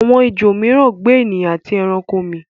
awọn ejò míràn gbe ènìyàn ati ẹranko mi.